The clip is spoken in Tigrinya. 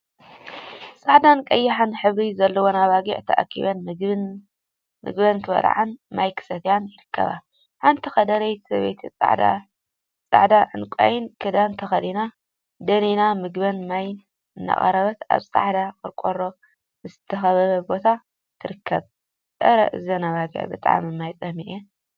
ፃዕዳን ቀይሕን ሕብሪ ዘለወን ኣባጊዕ ተኣኪበን ምግበን ክበልዓን ማይ ክሰትያን ይርከባ። ሓንቲ ከደረይቲ ሰበይቲ ፃዕዳን ዕንቋይን ክዳን ተከዲና ደኒና ምግቢን ማይን እናቅረበት ኣብ ጻዕዳ ቆርቆሮ ዝተካበበ ቦታ ትርከብ። ኣረ እዘን ኣባጊዕ ብጣዕሚ ማይ ፀሚኣን።